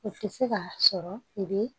U tɛ se ka sɔrɔ i bɛ